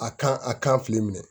A kan a kan filɛ minɛ